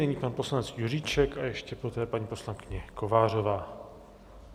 Nyní pan poslanec Juříček a ještě poté paní poslankyně Kovářová.